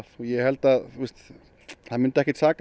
ég held að það myndi ekkert saka